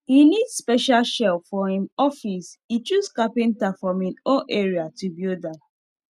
e need special shelf for him office e choose carpenter from him own area to build am